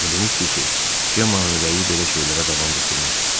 O demişdi ki, Cemmanın ürəyi belə şeylərə davam gətirməz.